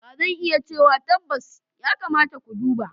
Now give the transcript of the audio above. Ba zan iya cewa tabbas, ya kamata ku duba.